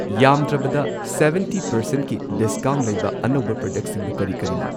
ꯌꯥꯝꯗ꯭ꯔꯕꯗ ꯁꯚꯦꯟꯇꯤ ꯄꯔꯁꯦꯟꯠꯀꯤ ꯗꯤꯁꯀꯥꯎꯟꯠ ꯂꯩꯕ ꯑꯅꯧꯕ ꯄ꯭ꯔꯗꯛꯁꯤꯡꯗꯨ ꯀꯔꯤ ꯀꯔꯤꯅꯣ?